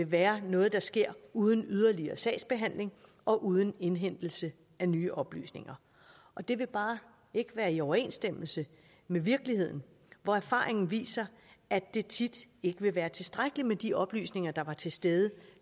være noget der sker uden yderligere sagsbehandling og uden indhentelse af nye oplysninger og det vil bare ikke være i overensstemmelse med virkeligheden hvor erfaringen viser at det tit ikke vil være tilstrækkeligt med de oplysninger der var til stede